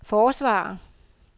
forsvarer